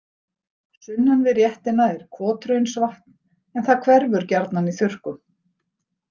Sunnan við réttina er Kothraunsvatn en það hverfur gjarnan í þurrkum.